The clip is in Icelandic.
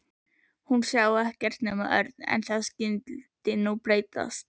Hún sá ekkert nema Örn. En það skyldi nú breytast.